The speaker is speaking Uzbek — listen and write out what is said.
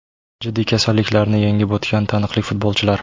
Jiddiy kasalliklarni yengib o‘tgan taniqli futbolchilar.